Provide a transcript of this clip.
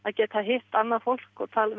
geta hitt annað fólk